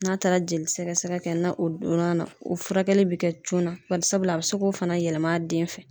N'a taara jeli sɛgɛsɛgɛ kɛ na o donn'a na o furakɛli bi kɛ joona barisabula a bɛ se k'o fana yɛlɛm'a den fɛ.